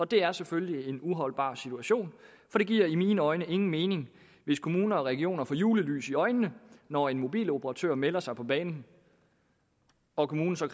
det er selvfølgelig en uholdbar situation for det giver i mine øjne ingen mening hvis kommuner og regioner får julelys i øjnene når en mobiloperatør melder sig på banen og kommunen så